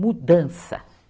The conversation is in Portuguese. Mudança.